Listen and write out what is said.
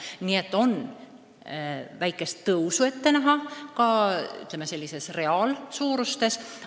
Nii et on väikest tõusu ette näha ka pensioni reaalses suuruses.